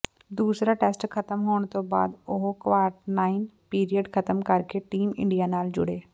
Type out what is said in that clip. ਦੂਸਰਾ ਟੈਸਟ ਖਤਮ ਹੋਣ ਤੋਂ ਬਾਅਦ ਉਹ ਕਵਾਰਨਟਾਈਨ ਪੀਰੀਅਡ ਖਤਮ ਕਰਕੇ ਟੀਮ ਇੰਡੀਆ ਨਾਲ ਜੁੜੇ